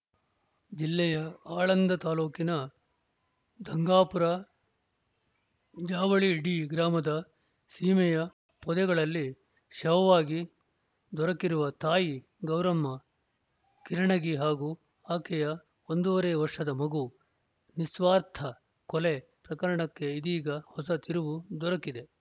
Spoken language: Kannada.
ಜಿಲ್ಲೆಯ ಆಳಂದ ತಾಲೂಕಿನ ಧಂಗಾಪುರ ಜಾವಳಿ ಡಿ ಗ್ರಾಮದ ಸೀಮೆಯ ಪೊದೆಗಳಲ್ಲಿ ಶವವಾಗಿ ದೊರಕಿರುವ ತಾಯಿ ಗೌರಮ್ಮ ಕಿರಣಗಿ ಹಾಗೂ ಆಕೆಯ ಒಂದೂವರೆ ವರ್ಷದ ಮಗು ನಿಸ್ವಾರ್ಥ ಕೊಲೆ ಪ್ರಕರಣಕ್ಕೆ ಇದೀಗ ಹೊಸ ತಿರುವು ದೊರಕಿದೆ